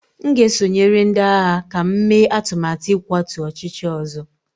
M ga-esonyere ndị agha ka m mee atụmatụ ịkwatu ọchịchị ọzọ